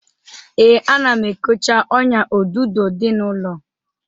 Ee, ana m ekocha ọ́nyà odudo dị n'ụlọ.